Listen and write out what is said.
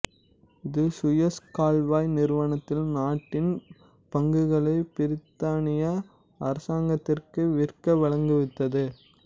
இது சுயஸ் கால்வாய் நிறுவனத்தில் நாட்டின் பங்குகளை பிரித்தானிய அரசாங்கத்திற்கு விற்க வழிவகுத்தது